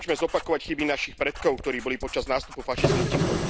Nemôžeme zopakovať chyby našich predkov, ktorí boli počas nástupu fašizmu ticho.